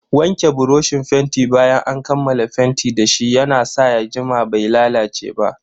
Wanke buroshin fenti bayan an kammala fenti dashi ya na sa ya jima bai lalace ba.